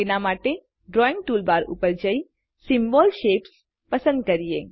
તેના માટેdrawing ટૂલબાર ઉપર જઈ સિમ્બોલ શેપ્સ પસંદ કરીએ